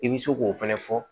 I bɛ se k'o fɛnɛ fɔ